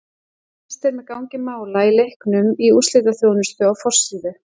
Fylgst er með gangi mála í leiknum í úrslitaþjónustu á forsíðu.